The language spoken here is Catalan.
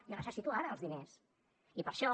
jo necessito ara els diners i per això